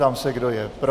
Ptám se, kdo je pro.